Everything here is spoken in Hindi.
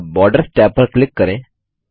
अब बॉर्डर्स टैब पर क्लिक करें